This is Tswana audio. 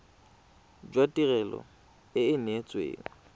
jwa tirelo e e neetsweng